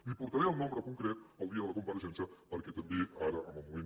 li portaré el nombre concret el dia de la compareixença perquè també ara en el moment